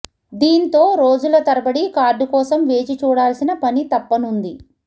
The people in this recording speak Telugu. దీంతో రోజుల తరబడి కార్డు కోసం వేచి చూడాల్సిన పని తప్పనుంది